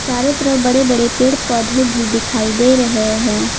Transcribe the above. चारो तरफ बड़े बड़े पेड़ पौधे भी दिखाई दे रहे है।